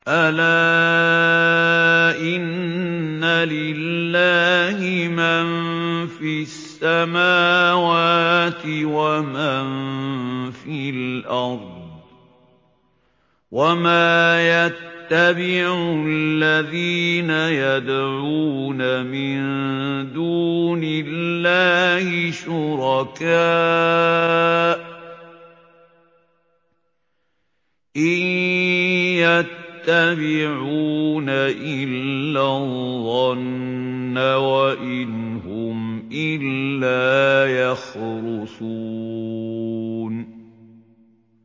أَلَا إِنَّ لِلَّهِ مَن فِي السَّمَاوَاتِ وَمَن فِي الْأَرْضِ ۗ وَمَا يَتَّبِعُ الَّذِينَ يَدْعُونَ مِن دُونِ اللَّهِ شُرَكَاءَ ۚ إِن يَتَّبِعُونَ إِلَّا الظَّنَّ وَإِنْ هُمْ إِلَّا يَخْرُصُونَ